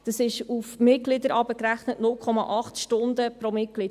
Das sind 0,8 Stunden pro Mitglied.